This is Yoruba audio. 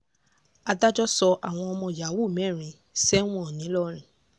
adájọ́ sọ àwọn ọmọ yahoo mẹ́rin sẹ́wọ̀n nìlọrin